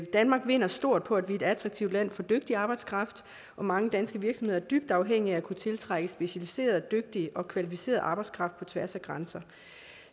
danmark vinder stort på at vi er et attraktivt land for dygtig arbejdskraft og mange danske virksomheder er dybt afhængige af at kunne tiltrække specialiseret dygtig og kvalificeret arbejdskraft på tværs af grænser